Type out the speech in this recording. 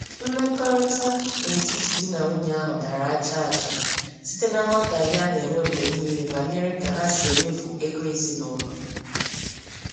Mmekọrịta n'etiti di na nwunye ahụ dàrà ajaaja, site na nghọtahie a na-enwe mgbe niile banyere ka ha si emefu ego ezinụlọ.